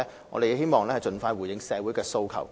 我們希望盡快回應社會的訴求。